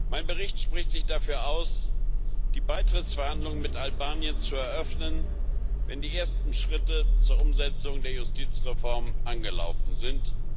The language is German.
Mein Bericht spricht sich dafür aus, die Beitrittsverhandlungen mit Albanien zu eröffnen, wenn die ersten Schritte zur Umsetzung der Justizreform angelaufen sind.